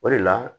O de la